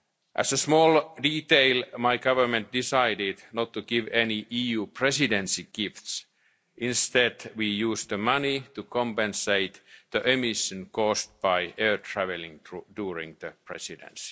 implemented without delay. As a small detail, my Government decided not to give any EU Presidency gifts instead we used the money to offset the emissions caused by air travel